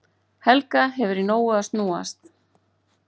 Helga hefur í nógu að snúast